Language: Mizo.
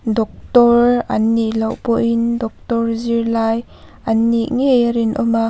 daktawr an nih loh pawhin daktawr zirlai an nih ngei a rinawm a.